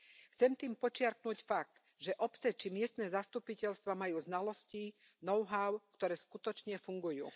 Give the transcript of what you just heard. Chcem tým podčiarknuť fakt, že obce či miestne zastupiteľstvá majú znalosti, know how, ktoré skutočne fungujú.